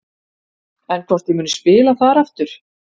En hvort ég muni spila þar aftur?